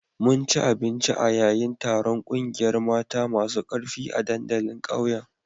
Mun ci abinci a yayin taron kungiyar mata masu karfi a dandalin ƙauyen